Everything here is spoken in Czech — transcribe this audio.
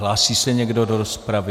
Hlásí se někdo do rozpravy?